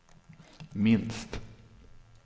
minst